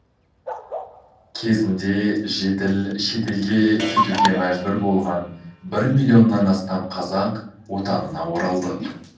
кезінде жетіл шетелге кетуге мәжбүр болған бір миллионнан астам қазақ отанына оралды